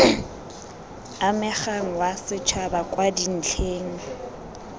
amegang wa setšhaba kwa dintlheng